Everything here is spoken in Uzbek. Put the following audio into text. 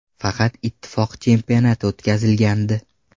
Faqat Ittifoq chempionati o‘tkazilgandi.